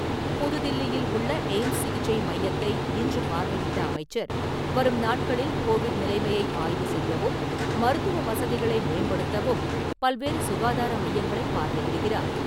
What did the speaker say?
புதுதில்லியில் உள்ள எய்ம்ஸ் சிகிச்சை மையத்தை இன்று பார்வையிட்ட அமைச்சர், வரும் நாட்களில் கோவிட் நிலைமையை ஆய்வு செய்யவும், மருத்துவ வசதிகளை மேம்படுத்தவும், பல்வேறு சுகாதார மையங்களை பார்வையிடுகிறார்.